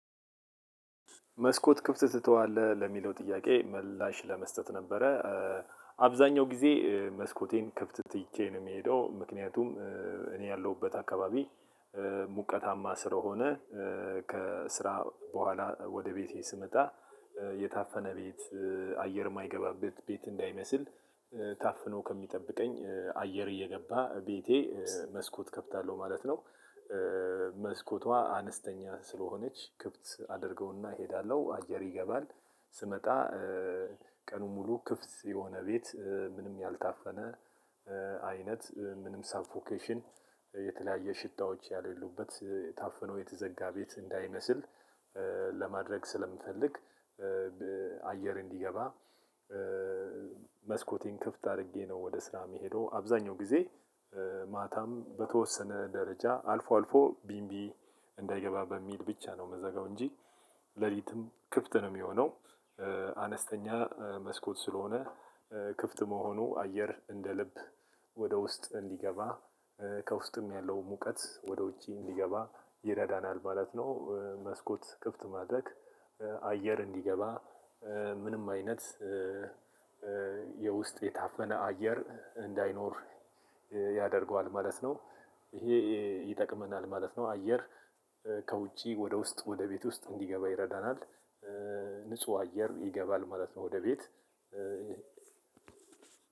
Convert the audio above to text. መስኮት ክፍት ትተዋለህ ለሚለው ጥያቄ ምላሽ ለመስጠት ነበረ። አብዛኛው ጊዜ መስኮቴን ክፍት ትቼ ነው የምሄደው ምክንያቱም እኔ ያለሁበት አካባቢ ሙቀታማ ስለሆነ ከስራ በኋላ ወደ ቤቴ ስመጣ የታፈነ ቤት አየር ማይገባበት ቤት እንዳይመስል ታፍኖ ከሚጠብቀኝ አየር እየገባ ቤቴ መስኮት ከፍታለው ማለት ነው። መስኮቷ አነስተኛ ስለሆነች ክፍት አደርገውና እሄዳለሁ አየር ይገባል። ስመጣ ቀኑን ሙሉ ክፍት የሆነ ቤት ምንም ያልታፈነ አይነት ምንም ሳፎኬሽን የተለያየ ሽታዎች ያሌሉበት ታፍኖ የተዘጋ ቤት እንዳይመስል ለማድረግ ስለምፈልግ። አየር እንዲገባ መስኮቴን ክፍት አድርጌ ነው ወደ ስራ የምሄደው አብዛኛው ጊዜ። ማታም በተወሰነ ደረጃ አልፎ አልፎ ቢንቢ እንዳይገባ በሚል ብቻ ነው የምዘጋው እንጂ ሌሊትም ክፍት ነው የሚሆነው። አነስተኛ መስኮት ስለሆነ ክፍት መሆኑ አየር እንደ ልብ ወደ ውስጥ እንዲገባ ከውስጥም ያለው ሙቀት ወደ ውጪ እንዲገባ ይረዳናል ማለት ነው። መስኮት ክፍት ማድረግ አየር እንዲገባ ምንም አይነት የውስጥ የታፈነ አየር እንዳይኖር ያደርገዋል ማለት ነው። ይሄ ይጠቅመናል ማለት ነው። አየር ከውጪ ወደ ውስጥ ወደ ቤት ውስጥ እንዲገባ ይረዳናል። ንጹህ አየር ይገባል ማለት ነው ወደ ቤት